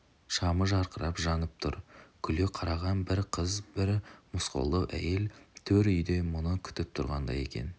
шамы жарқырап жанып тұр күле қараған бір қыз бір мосқалдау әйел төр үйде мұны күтіп тұрғандай екен